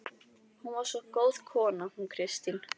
Hún var svo góð kona hún Kristín.